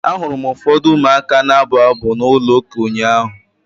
Ahụrụ m ụfọdụ ụmụaka na-abụ abụ na ụlọ ụka ụnyaahụ.